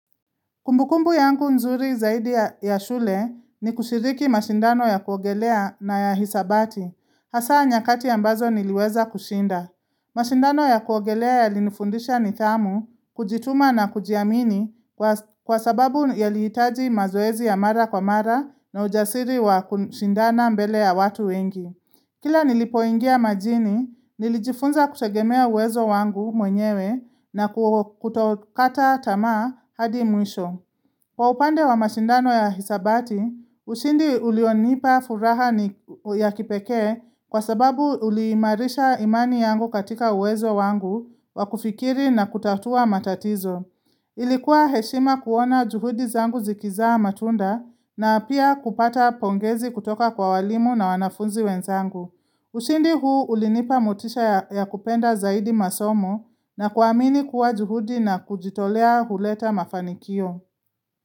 Kumbukumbu yangu nzuri zaidi ya shule ni kushiriki mashindano ya kuogelea na ya hisabati. Hasa nyakati ambazo niliweza kushinda. Mashindano ya kuogelea yalinifundisha nithamu, kujituma na kujiamini kwa sababu yalihitaji mazoezi ya mara kwa mara na ujasiri wa kushindana mbele ya watu wengi. Kila nilipoingia majini, nilijifunza kutegemea uwezo wangu mwenyewe na kutokata tamaa hadi mwisho. Kwa upande wa mashindano ya hisabati, ushindi ulionipa furaha ni ya kipeke kwa sababu uliimarisha imani yangu katika uwezo wangu wakufikiri na kutatua matatizo. Ilikuwa heshima kuona juhudi zangu zikizaa matunda na pia kupata pongezi kutoka kwa walimu na wanafunzi wenzangu. Ushindi huu ulinipa motisha ya kupenda zaidi masomo na kuamini kuwa juhudi na kujitolea huleta mafanikio.